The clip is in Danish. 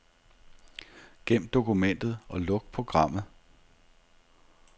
Gem dokumentet og luk programmet.